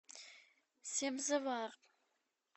себзевар